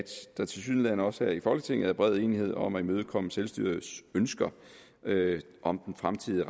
der tilsyneladende også her i folketinget er bred enighed om at imødekomme selvstyrets ønsker om den fremtidige